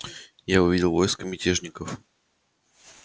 я увидел войско мятежников